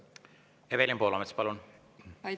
Evelin Poolamets, palun!